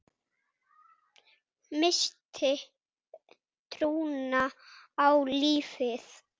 Missti trúna á lífið.